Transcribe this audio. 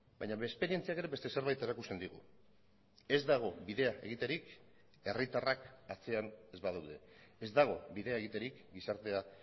baina esperientziak ere beste zerbait erakusten digu ez dago bidea egiterik herritarrak atzean ez badaude ez dago bidea egiterik gizartea